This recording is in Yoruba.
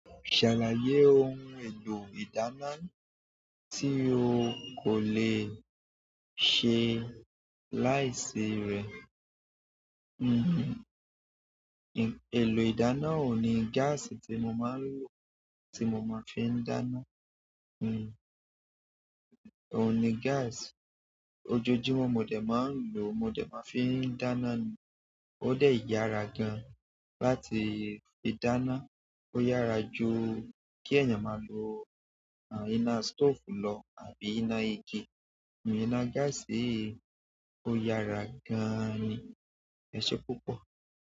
Ṣàlàyé ohun èlò ìdàna tí o kò lè ṣe láìsí rè. Nkan, lò ìdáná òun ni gas tí mo máa ń lò, tí mo máa ń fi ń dáná. Hmm. Òun ni gas. Ojojúmọ́ mo dè máa ń lò, mo dè máa ń fi ń dáná ni. Ode yara gan láti fi dáná. Ó yára ju kí ẹ̀yàn máa lo, iná stove lọ àbí iná igi. Hmm, iná gas yìí ó yára gan-an ni. Ẹ̀ṣe púpọ̀.